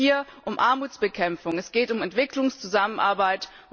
Es geht hier um Armutsbekämpfung und um Entwicklungszusammenarbeit.